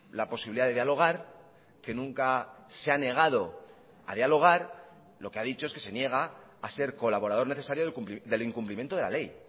la posibilidad de dialogar que nunca se ha negado a dialogar lo que ha dicho es que se niega a ser colaborador necesario del incumplimiento de la ley